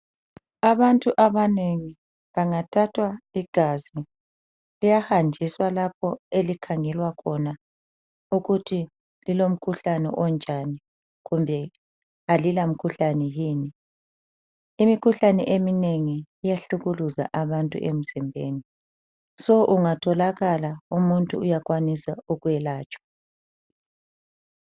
Abantu abanengi bangathathwa igazi liyahanjiswa lapho elikhangelwa khona ukuthi lilomkhuhlane onjani kumbe alila mkhuhlane yini. Imkhuhlane emnengi iyahlukuluza abantu emzimbeni so ungathokala umuntu uyakwanisa ukwelatshwa.